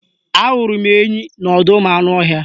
Ahụrụ m enyi n'ọdọụmụanụọhịa